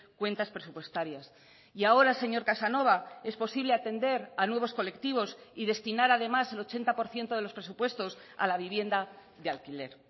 cuentas presupuestarias y ahora señor casanova es posible atender a nuevos colectivos y destinar además el ochenta por ciento de los presupuestos a la vivienda de alquiler